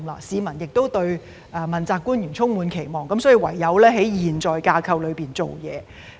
市民對問責官員充滿期望，所以唯有在現時的架構裏下工夫。